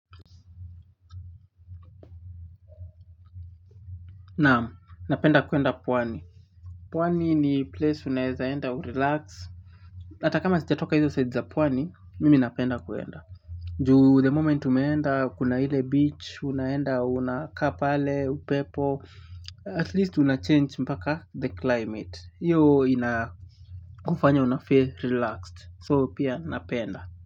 Naam, napenda kuenda pwani. Pwani ni place unaeza enda u-relax. Ata kama sijatoka hizo side za pwani, mimi napenda kuenda. Ju the moment umeenda, kuna ile beach, unaenda, unakaa pale, upepo. At least unachange mpaka the climate. Iyo ina kufanya unafeel relaxed. So pia napenda.